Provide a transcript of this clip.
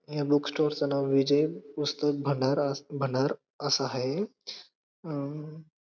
या book store च नाव विजय पुस्तक भंडारा भंडार अस हाये हम्म--